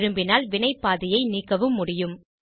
விரும்பினால் வினைப்பாதையை நீக்கவும் முடியும்